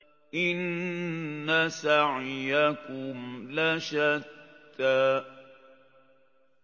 إِنَّ سَعْيَكُمْ لَشَتَّىٰ